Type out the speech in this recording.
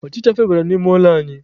Ọchịcha febatara n'ime ụlọ anyị.